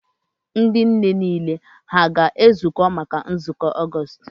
Ndị nne niile ha a ga-ezukọ maka nzukọ Ọgọọst?